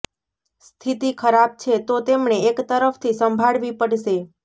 સ્થિતિ ખરાબ છે તો તેમણે એક તરફથી સંભાળવી પડશે